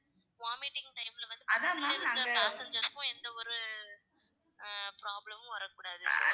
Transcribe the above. vomiting type ல வந்து passangers எந்த ஒரு ஆஹ் problem மும் வரக் கூடாது